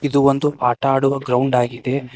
ಇದು ಒಂದು ಆಟ ಆಡುವ ಗ್ರೌಂಡ್ ಆಗಿದೆ.